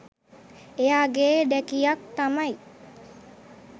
එයා ගේ ඬැකියක් තමයි